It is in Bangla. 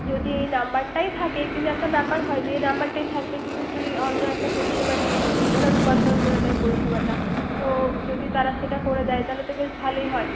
যদিই নাম্বার টাই থাকে কিন্ত একটা ব্যাপর হয় যে এই নাম্বার থাকবে কিন্তু তুই অন্য একটা পরিসেবা নিয়ে নিবি। ও conltrol করে দেয় পরিসেবাটা। তো যদি তারা সেটা করে দেয় তাহলে তো বেশ ভালোই হয়।